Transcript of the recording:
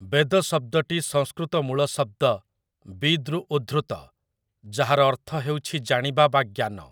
ବେଦ ଶବ୍ଦଟି ସଂସ୍କୃତ ମୂଳଶବ୍ଦ ବିଦ୍‌ରୁ ଉଦ୍ଧୃତ ଯାହାର ଅର୍ଥ ହେଉଛି ଜାଣିବା ବା ଜ୍ଞାନ ।